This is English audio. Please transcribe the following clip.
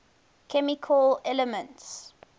chemical elements